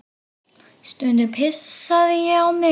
Stundum pissaði ég á mig.